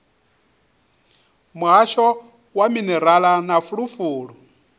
muhasho wa minerala na fulufulu